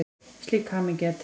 Slík hamingja er til.